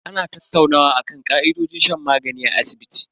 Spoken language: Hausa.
Ana tattaunawa akan ka'idojin shan magani a asibiti.